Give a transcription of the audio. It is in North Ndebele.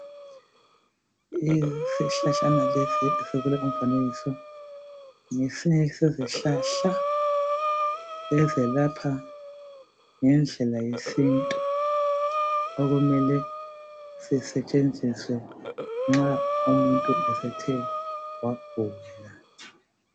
Isihlahlana lesi esikulo umfanekiso ngesinye sezihlahla ezelapha ngendlela yesintu okumele sisetshenziswe nxa umuntu esethe wagula.